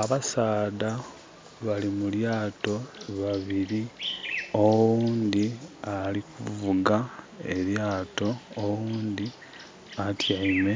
Abasaadha bali mulyaato babiri. Oghundi ali kuvuga elyaato oghundi atiame